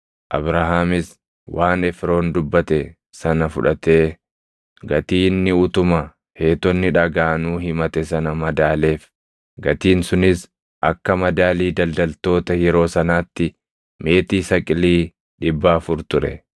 Abrahaamis waan Efroon dubbate sana fudhatee gatii inni utuma Heetonni dhagaʼanuu himate sana madaaleef; gatiin sunis akka madaalii daldaltoota yeroo sanaatti meetii saqilii dhibba afur ture.